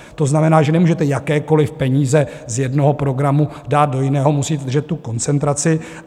To znamená, že nemůžete jakékoliv peníze z jednoho programu dát do jiného, musíte držet tu koncentraci.